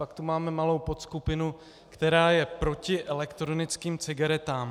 Pak tu máme malou podskupinu, která je proti elektronickým cigaretám.